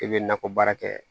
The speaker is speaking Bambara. E bɛ nakɔ baara kɛ